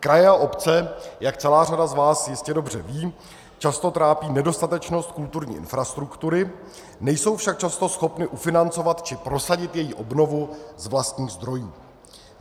Kraje a obce, jak celá řada z vás jistě dobře ví, často trápí nedostatečnost kulturní infrastruktury, nejsou však často schopny ufinancovat či prosadit její obnovu z vlastních zdrojů.